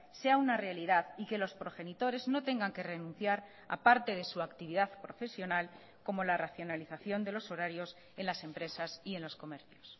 sea una realidad y que los progenitores no tengan que renunciar a parte de su actividad profesional como la racionalización de los horarios en las empresas y en los comercios